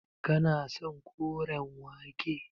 Kana son koren wake.